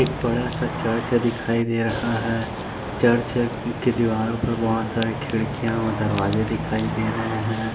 एक बड़ा सा चर्च दिखाई दे रहा है चर्च के दीवारों पर बहुत सारे खिड़कियाँ और दरवाज़े दिखाई रहे है।